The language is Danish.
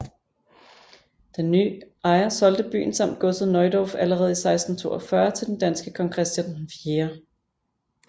Den nye ejer solgte byen samt godset Neudorf allerede i 1642 til den danske kong Christian IV